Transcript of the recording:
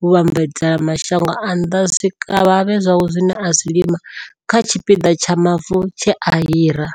muvhambadzela mashango a nnḓa zwikavhavhe zwawe zwine a zwi lima kha tshipiḓa tsha mavu tshe a hira.